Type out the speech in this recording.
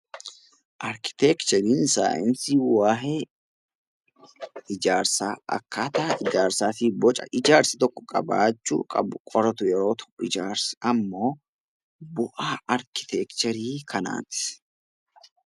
Arkiteekchariin saayinsii waayee ijaarsaa, akkaataa ijaarsaa fi Boca ijaarsi tokko qabaachuu qabu qoratu yommuu ta'u, ijaarsi immoo bu'aa arkiteekcharii kanaati